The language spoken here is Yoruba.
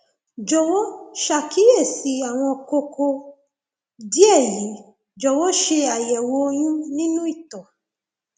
jọwọ ṣàkíyèsí àwọn kókó díẹ yìí jọwọ ṣe àyẹwò oyún nínú ìtọ